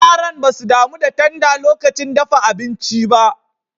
Yaran ba su damu da tanda lokacin dafa abinci ba.